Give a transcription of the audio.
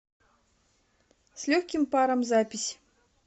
с легким паром запись